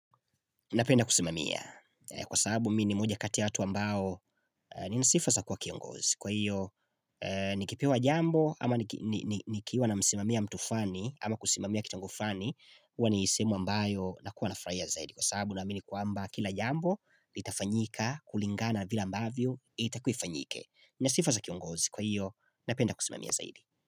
Napenda kusimamia. Kwasababu mi ni moja kati ya watu ambao nina sifa za kua kiongozi. Kwa hiyo nikipewa jambo ama nikiwa namsimamia mtu flani ama kusimamia kitengo flani uwa ni sehemu ambayo na kuwa nafurahiya zaidi. Kwasababu namini kwamba kila jambo itafanyika kulingana vile ambavyo itakuwaifanyike. Nina sifa za kiongozi. Kwahiyo napenda kusimamia zaidi.